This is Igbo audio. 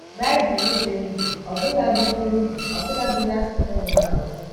Baịbụl Dị Ndụ Ọbụladi Dị Ndụ Ọbụladi n’Asụsụ Nwụrụ Anwụ.